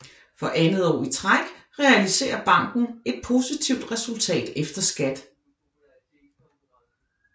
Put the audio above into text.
For andet år i træk realiserer banken et positivt resultat efter skat